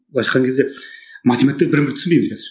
былайша айтқан кезде математиктер бір бірімізді түсінбейміз қазір